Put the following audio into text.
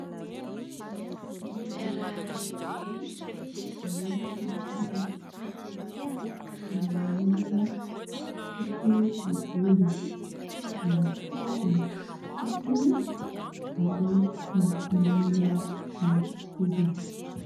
Loham-behivavy iray mainty fihodirana tsara sy milamina hogo volony, manao kavina ny sofiny ary miloko manga ny hohony.